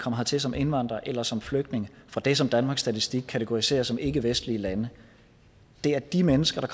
hertil som indvandrere eller som flygtninge fra det som danmarks statistik kategoriserer som ikkevestlige lande er de mennesker